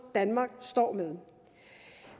danmark står med